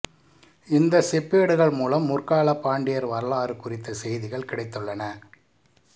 இந்த செப்பேடுகள் மூலம் முற்கால பாண்டியர் வரலாறு குறித்த செய்திகள் கிடைத்துள்ளன